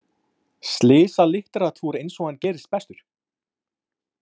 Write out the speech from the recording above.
Slysalitteratúr eins og hann gerist bestur!